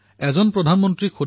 মই বহুতো ফোন কলো শুনো